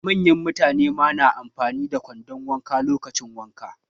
Manyan mutane ma na amfani da kwandon wanka lokacin wanka.